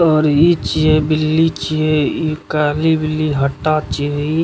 और इ छीये बिल्ली छीये इ काली बिल्ली हट्टा छीये।